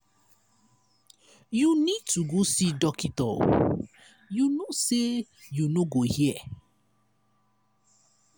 you need to go see doctor you no say you no go hear.